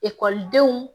Ekɔlidenw